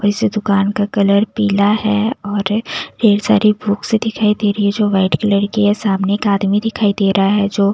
और इस दुकान का कलर पीला है और ढेर सारी बुक्स दिखाई दे रही है जो वाइट कलर की है सामने का आदमी दिखाई दे रहा है जो--